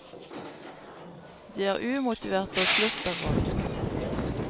De er umotiverte og slutter raskt.